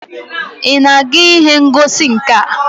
Ị na-aga ihe ngosi nka?